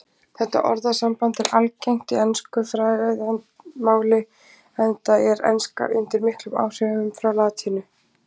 Þetta orðasamband er algengt í ensku fræðimáli enda er enska undir miklum áhrifum frá latínu.